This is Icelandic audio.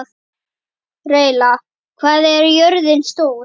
Reyla, hvað er jörðin stór?